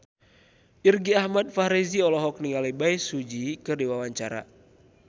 Irgi Ahmad Fahrezi olohok ningali Bae Su Ji keur diwawancara